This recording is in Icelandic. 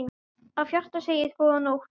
Af hjarta segið: GÓÐA NÓTT.